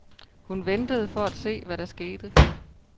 Hun ventede for at se, hvad der skete.